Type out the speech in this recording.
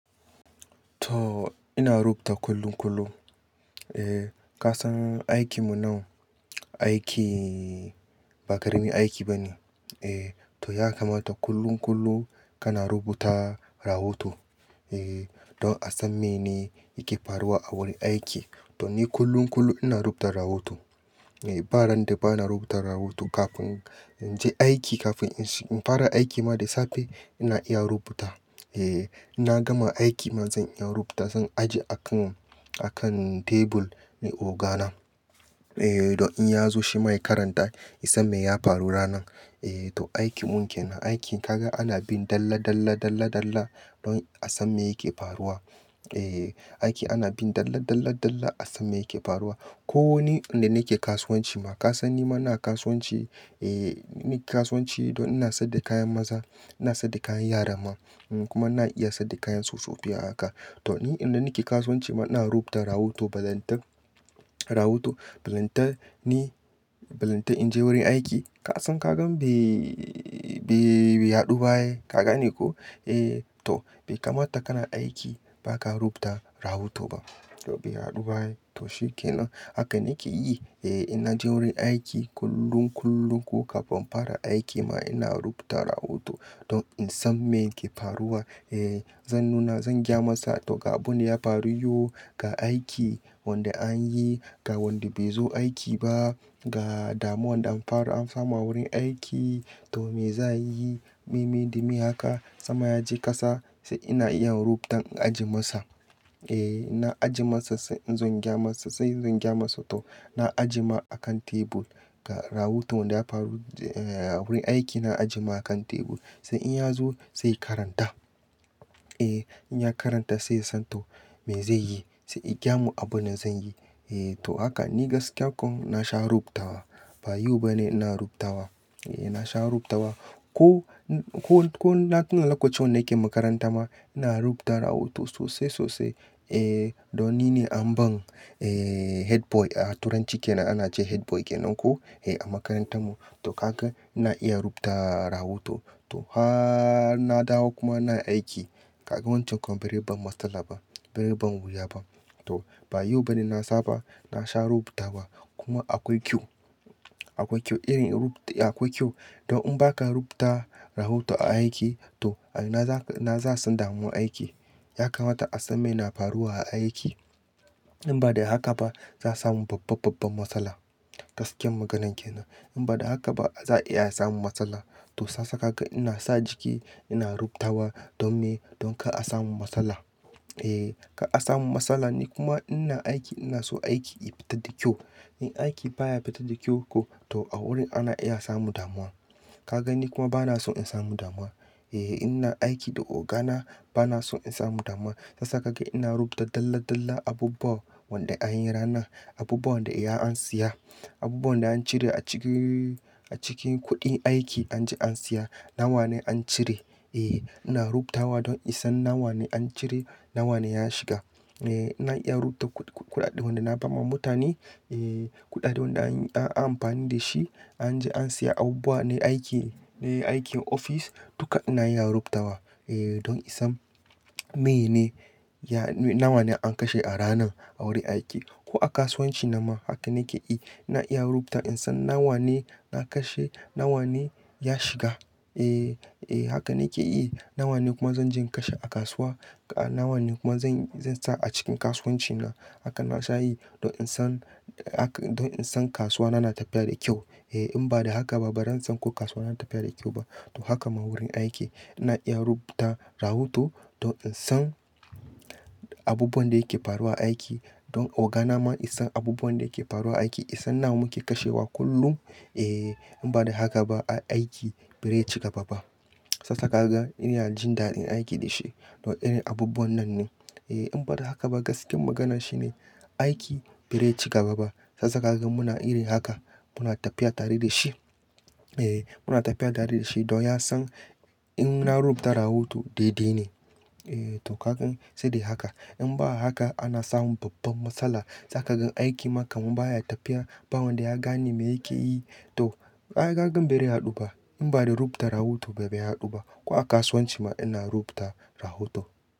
Toh ina rubuta kullum kullum. Eh ka san aikin mu nan aiki ba karamin aiki ba ne. Eh to ya kamata kullum kullum kana rubuta rahoto. Eh don a san mene yake faruwa a wurin aiki. To ni kullum kullum ina rubuta rahoto. Eh ba ran da ba na rubuta rahoto kafin in je aiki kafin in fara aiki ma da safe ina iya rubuta. Eh in na gama aiki ma zan iya rubuta, zan ajiye a kan, a kan tebur na ogana. Eh don in ya zo shi ma ya karanta ya san me ya faru ranan. Eh to aikin mun ke nan. Aiki kaga ana bin dalla, dalla, dalla, dalla don a san me yake faruwa. Eh aiki ana bin dalla, dalla, dalla a san me yake faruwa. Ko ni inda nake kasuwanci ma ka san ni ma ina kasuwanci. Eh ni kasuwanci don ina saida kayan maza, ina saida kayan yara ma kuma na iya saida kayan tsofaffi a haka. To ni inda nake kasuwanci ma ina rubuta rahoto, ballenta rahoto, ballenta ni ballenta in je wurin aiki. Ka san ka gan bai, bai, bai haɗu ba ai. Ka gane koh? Eh to bai kamata kana aiki ba ka rubuta rahoto ba. To bai haɗu ba ai. To shi ke nan. Haka nake yi. Eh in na je wurin aiki kullum kullum ko kafin in fara aiki ma ina rubuta rahoto don in san me yake faruwa. Eh zan nuna, zan gya masa to ga abin da ya faru yau ga aiki wanda an yi, ga wanda bai zo aiki ba, ga damuwan da an fara an samu a wurin aiki to me za ayi, me, me da me haka. Sama ya je ƙasa sai ina iya rubuta in ajiye masa. Eh in na ajiye masa sai in zo in gya masa sai zan gya masa. To na ajiye ma a kan tebur ga rahoto wanda ya faru a wurin aiki na ajiye ma a kan tebur sai in ya zo sai ya karanta. Eh in ya karanta sai ya san to me zai yi sai ya gya mun abin da zan yi. Eh to haka ni gaskiya ko na sha rubutawa. Ba yau bane ina rubutawa. Eh na sha rubutawa. Ko ko, ko, na tuna lokacin wanda nake makaranta ma ina rubuta rahoto sosai sosai. Eh don nine an ban eh headboy a turanci ke nan ana ce headboy kenan ko eh a makarantar mu. To haka ina iya rubuta rahoto. To har na dawo kuma ina aiki ka gan wancan berai ban matsala ba, berai ban wuya ba. To ba yau bane na saba na sha rubuta wa kuma akwai kyau. Akwai kyau irin rubu-- akwai kyau don in ba ka rubuta rahoto a aiki to a ina za, ina za a san damuwan aiki. Ya kamata a san me na faruwa a aiki. In ba da haka ba za su samu babban, babban matsala. Gaskiyan maganan kenan. In ba da haka ba za a iya samu matsala. To san san ka ga ina sa jiki ina rubutawa don me, don kar a samu matsala. Eh kar a samu matsala ni kuma ina aiki ina so aiki ya fita da kyau. In aiki baya fita da kyau ko to a wurin ana iya samu damuwa. Ka ga ni kuma bana son in samu damuwa. Eh ina aiki da ogana bana son in samu damuwa. Shiyasa ka ga ina rubuta dalla, dalla abubuwan wanda an yi ranan, abubuwan da iya an siya, abubuwan da an cire a ciki, a cikin kuɗin aiki an ji an siya, nawa ne an cire. Eh ina rubutawa don in san nawa ne an cire, nawa ne ya shiga. Eh ina iya rubuta kuɗaɗɗen wanda na ba ma mutane. Eh kuɗaɗɗen wanda an yi, an amfani da shi an ji an siya abubuwa na aiki, aikin ofis duka ina iya rubutawa. Eh don in san mene ya, nawa ne an kashe a ranan a wurin aiki. Ko a kasuwanci na ma haka nake yi. Ina iya rubuta in san nawa ne na kashe, nawa ne ya shiga. Eh, eh haka nake yi. Nawa ne kuma zan je in kashe a kasuwa. Nawa ne kuma zan, zan sa a cikin kasuwanci na. Haka na sha yi don in san, don in san kasuwa na na tafiya da kyau. Eh in ba da haka ba ran san ko kasuwa na tafiya da kyau ba. To haka ma wurin aiki ina iya rubuta rahoto don in san abubuwan da yake faruwa a aiki don ogana ma ya san abubuwan da yake faruwa aiki, ya san nawa muke kashewa kullum. Eh in ba da haka ba a aiki ba rai ci gaba ba. Shiyasa ka ga ina jin dadin aiki da shi don irin abubuwan nan ne. Eh in ba da haka ba gaskiyar magana shine aiki bai rai ci gaba ba. Shiyasa ka gan muna irin haka muna tafiya tare da shi. Eh muna tafiya tare da shi don ya san in na rubuta rahoto daidai ne. Eh to ka gan sai dai haka. In ba haka ana samu babban matsala. Zaka ga aikin ma ka man baya tafiya ba wanda ya gane me yake yi. To ka ga hakan be rai haɗu ba. In ba da rubuta rahoto be rai haɗu ba. Ko a kasuwanci ma ina rubuta rahoto.